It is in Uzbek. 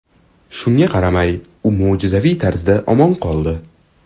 Shunga qaramay, u mo‘jizaviy tarzda omon qoldi.